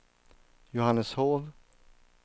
Johanneshov